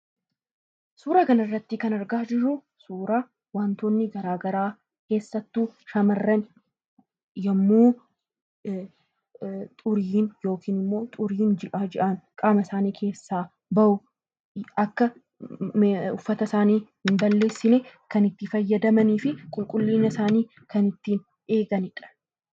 Suuraa kanarratti kan argaa jirru suuraa wantoonni gara garaa keessattuu shamarran yommuu xuriin ji'a jia'aan qaama isaanii keessaa bahu akka uffata isaanii hin balleessine kan itti fayyadamanii fi qulqullina isaanii kan ittiin eeganidha.